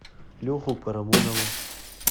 леху парамонова